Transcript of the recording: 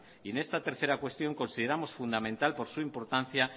y en esta tercera cuestión la consideramos fundamental por su importancia